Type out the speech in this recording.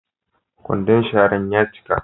Kwandon sharan ya cika.